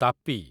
Tapi